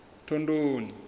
thondoni